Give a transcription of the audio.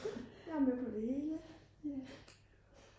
jeg er med på det hele